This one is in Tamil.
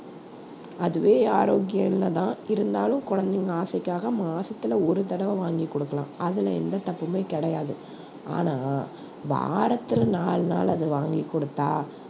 அதுவே ஆரோக்கியம் இல்ல தான் இருந்தாலும் குழந்தைங்க ஆசைக்காக மாசத்துல ஒரு தடவ வாங்கி குடுக்கலாம் அதுல எந்த தப்புமே கிடையாது ஆனா வாரத்துல நாலு நாள் அத வாங்கி குடுத்தா